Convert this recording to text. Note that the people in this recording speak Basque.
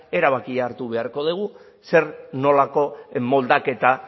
erabakia hartu beharko dugu zer nolako moldaketa